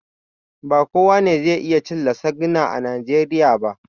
Ba kowa ne zai iya cin lasagna a najeriya ba